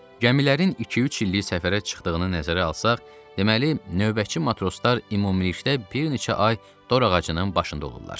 Gəmilərin iki-üç illik səfərə çıxdığını nəzərə alsaq, deməli növbəçi matroslar ümumilikdə bir neçə ay dorağacının başında olurlar.